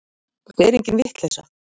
Þetta er engin vitleysa.